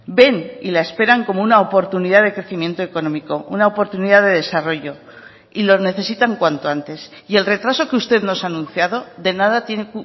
ven y la esperan como una oportunidad de crecimiento económico una oportunidad de desarrollo y lo necesitan cuanto antes y el retraso que usted nos ha anunciado de nada tiene